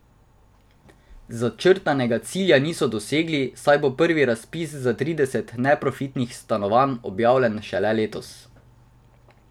Začrtanega cilja niso dosegli, saj bo prvi razpis za trideset neprofitnih stanovanj objavljen šele letos.